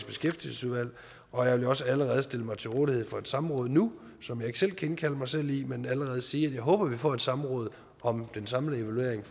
beskæftigelsesudvalg og jeg vil også allerede stille mig til rådighed for et samråd nu som jeg ikke selv kan indkalde mig selv i men allerede sige at jeg håber at vi får et samråd om den samlede evaluering